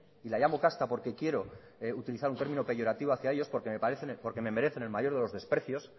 y la llamo casta porque quiero utilizar un término peyorativo hacia ellos porque me merecen el mayor de los desprecios